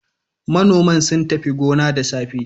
Manoman sun tafi gona da safe.